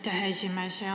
Aitäh, hea esimees!